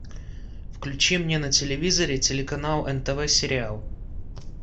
включи мне на телевизоре телеканал нтв сериал